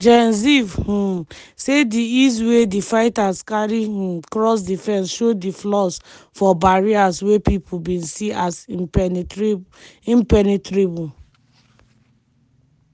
gen ziv um say di ease wey di fighters carry um cross di fence show di flaws for barriers wey pipo bin see as impenetrable.